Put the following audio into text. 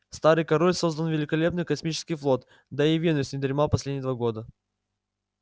старый король создал великолепный космический флот да и венус не дремал последние два года